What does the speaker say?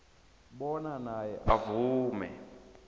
bona naye avume